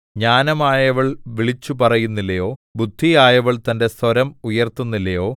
ജ്ഞാനമായവൾ വിളിച്ചുപറയുന്നില്ലയോ ബുദ്ധിയായവൾ തന്റെ സ്വരം ഉയർത്തുന്നില്ലയോ